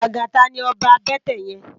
Lagata ni òbá àbètè yèn